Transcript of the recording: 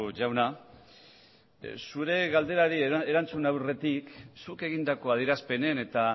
jauna zure galderari erantzun aurretik zuk egindako adierazpenen eta